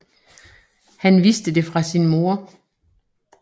Han vidste det fra sin moder